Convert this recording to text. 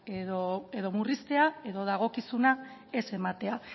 edo murriztea edo dagokizuna ez ematea